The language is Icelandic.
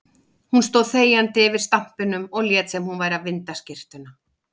Hún stóð þegjandi yfir stampinum og lét sem hún væri að vinda skyrtuna.